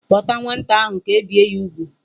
Kpọta nwata ahụ ka e bie ya úgwù!